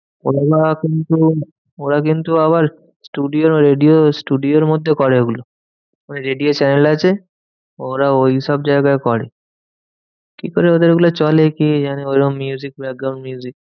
ওরা কিন্তু আবার studio radio studio র মধ্যে করে ওগুলো। radio channel আছে ওরা ওইসব জায়গায় করে। কিকরে ওদের গুলো চলে কে জানে? ওইরকম